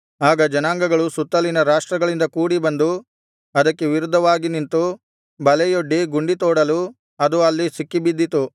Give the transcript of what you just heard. ಆಗ ಜನಾಂಗಗಳು ಸುತ್ತಲಿನ ರಾಷ್ಟ್ರಗಳಿಂದ ಕೂಡಿ ಬಂದು ಅದಕ್ಕೆ ವಿರುದ್ಧವಾಗಿ ನಿಂತು ಬಲೆಯೊಡ್ಡಿ ಗುಂಡಿ ತೋಡಲು ಅದು ಅಲ್ಲಿ ಸಿಕ್ಕಿಬಿದ್ದಿತು